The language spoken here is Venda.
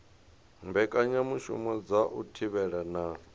mbekanyamushumo dza u thivhela na